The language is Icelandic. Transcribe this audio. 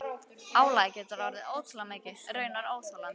Álagið getur orðið ótrúlega mikið- raunar óþolandi.